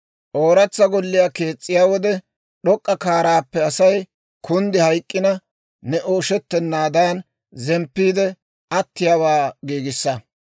«Ooratsa golliyaa kees's'iyaa wode, d'ok'k'a kaaraappe Asay kunddi hayk'k'ina ne ooshettennaadan, zemppiide attiyaawaa giigissa.